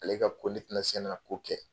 Ale ka ko ne tina se na ko kɛ